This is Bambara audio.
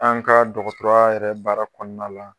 An ka dɔgɔtɔrɔya yɛrɛ baara kɔnɔna la.